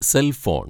cell‍ phone‍